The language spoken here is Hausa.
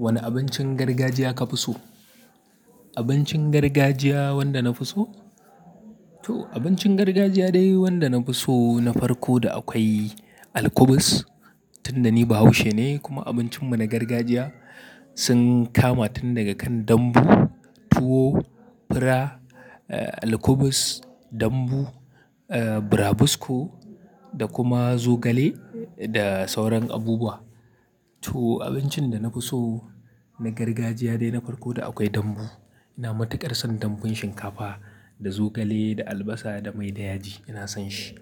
Wane abincin gargajiya ka fi so? Abincin gargajiya wanda na fi so? To abincin gargajiya dai wanda na fi so na farko da akwai alkubis. Tunda ni Bahaushe ne kuma abincinmu na gargajiya sun kama tun daga kan dambu, tuwo, fura, alkubus, dambu, brabisco da kuma zogale da sauran abubuwa. To abincin da na fi so na gargajiya dai na farko da akwai dambu. Ina matuƙar son dambun shinkafa da zogale, da albasa da mai da yaji, ina son shi.